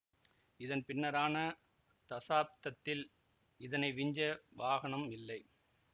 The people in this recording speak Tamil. இதன் பின்னரான தசாப்தத்தில் இதனை விஞ்ச வாகனம் இல்லை